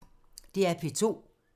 DR P2